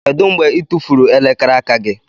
Kedu mgbe ị tụfuru elekere aka gị?